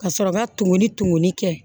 Ka sɔrɔ ka tumuni tumuni kɛ